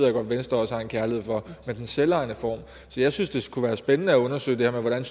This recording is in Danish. at venstre har en kærlighed for det med den selvejende form så jeg synes det kunne være spændende at undersøge det her med hvordan vi